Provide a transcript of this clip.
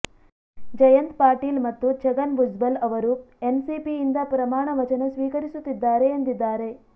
ಜಯಂತ್ ಪಾಟೀಲ್ ಮತ್ತು ಛಗನ್ ಭುಜ್ಬಲ್ ಅವರು ಎನ್ಸಿಪಿಯಿಂದ ಪ್ರಮಾಣ ವಚನ ಸ್ವೀಕರಿಸುತ್ತಿದ್ದಾರೆ ಎಂದಿದ್ದಾರೆ